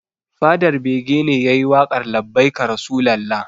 Fadar bege ne yayi waƙar 'labbaika rasulalla'